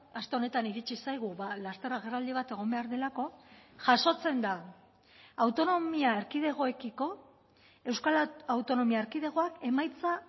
aste honetan iritsi zaigu laster agerraldi bat egon behar delako jasotzen da autonomia erkidegoekiko euskal autonomia erkidegoak emaitza